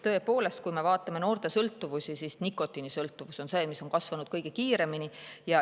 Tõepoolest, kui me vaatame noorte sõltuvusi, siis nikotiinisõltuvus on see, mis on kasvanud kõige kiiremini.